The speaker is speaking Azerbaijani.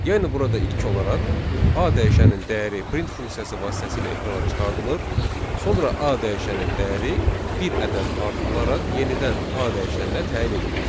Yəni burada ilk olaraq A dəyişəninin dəyəri print funksiyası vasitəsilə ekrana çıxardılır, sonra A dəyişəninin dəyəri bir ədəd artırılaraq yenidən A dəyişəninə təyin edilir.